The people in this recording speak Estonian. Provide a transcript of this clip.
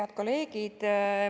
Head kolleegid!